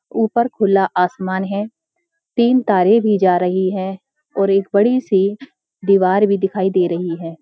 ऊपर खुला आसमान है तीन तारें भी जा रही है और एक बड़ी सी दीवार भी दिखाई दे रही है।